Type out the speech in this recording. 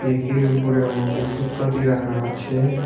ব়্যাকের উপরে অনেক ওষুধপাতি রাখা আছে।